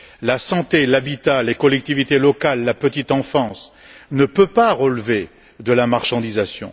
La santé, l'habitat, les collectivités locales, la petite enfance ne peuvent pas relever de la marchandisation.